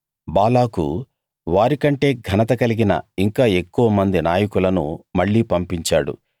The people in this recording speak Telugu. బాలాకు వారికంటే ఘనత కలిగిన ఇంకా ఎక్కువ మంది నాయకులను మళ్ళీ పంపించాడు